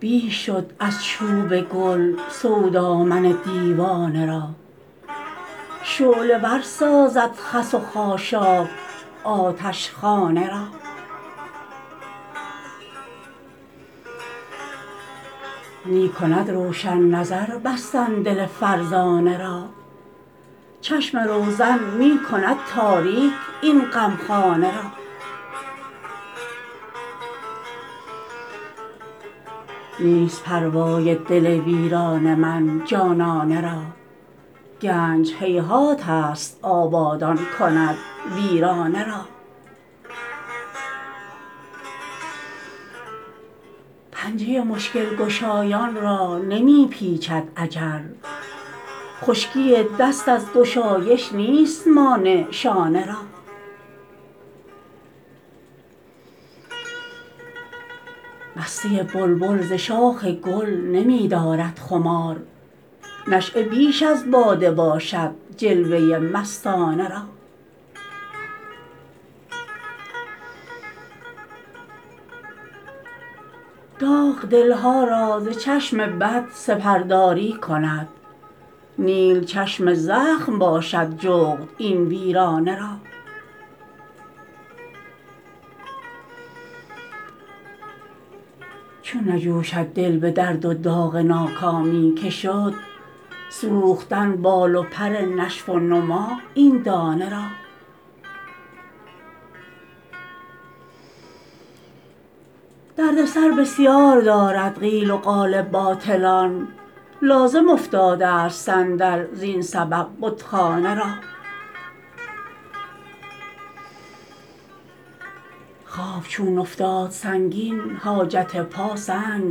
بیش شد از چوب گل سودا من دیوانه را شعله ور سازد خس و خاشاک آتشخانه را می کند روشن نظر بستن دل فرزانه را چشم روزن می کند تاریک این غمخانه را نیست پروای دل ویران من جانانه را گنج هیهات است آبادان کند ویرانه را پنجه مشکل گشایان را نمی پیچد اجل خشکی دست از گشایش نیست مانع شانه را مستی بلبل ز شاخ گل نمی دارد خمار نشأه بیش از باده باشد جلوه مستانه را داغ دل ها را ز چشم بد سپرداری کند نیل چشم زخم باشد جغد این ویرانه را چون نجوشد دل به درد و داغ ناکامی که شد سوختن بال و پر نشو و نما این دانه را درد سر بسیار دارد قیل و قال باطلان لازم افتاده است صندل زین سبب بتخانه را خواب چون افتاد سنگین حاجت پا سنگ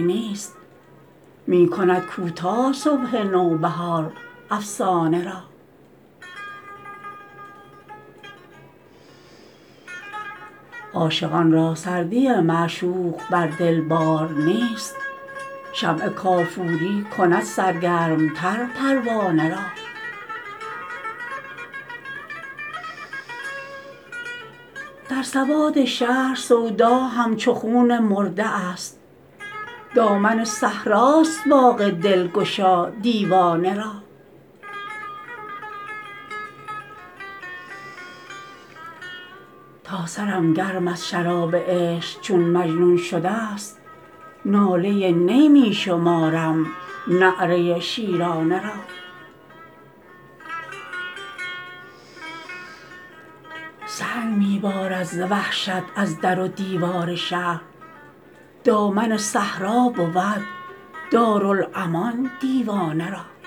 نیست می کند کوتاه صبح نوبهار افسانه را عاشقان را سردی معشوق بر دل بار نیست شمع کافوری کند سرگرم تر پروانه را در سوادشهر سودا همچو خون مرده است دامن صحراست باغ دلگشا دیوانه را تا سرم گرم از شراب عشق چون مجنون شده است ناله نی می شمارم نعره شیرانه را سنگ می بارد ز وحشت از در و دیوار شهر دامن صحرا بود دارالامان دیوانه را